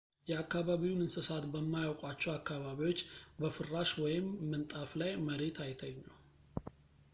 የአከባቢውን እንስሳት በማያውቋቸው አካባቢዎች በፍራሽ ወይም ምንጣፍ ላይ መሬት አይተኙ